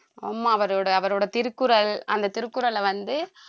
ஆமா அவரோட அவரோட திருக்குறள் அந்த திருக்குறளை வந்து